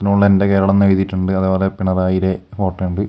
മോളിൽ എൻറെ കേരളന്ന് എഴുതിയിട്ടുണ്ട് അതുപോലെ പിണറായിടെ ഫോട്ടോ ഇണ്ട്--